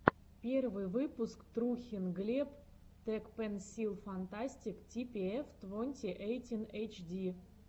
первый выпуск трухин глеб тэкпэнсилфантастик типиэф твонти эйтин эйчди